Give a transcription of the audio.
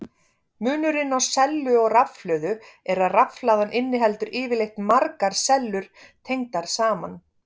Munurinn á sellu og rafhlöðu er að rafhlaða inniheldur yfirleitt margar sellur tengdar saman.